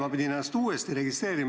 Ma pidin ennast uuesti registreerima.